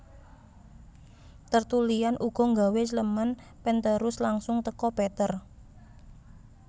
Tertullian ugo nggawe Clement penterus langsung teko Peter